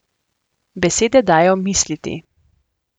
Besede dajo misliti ...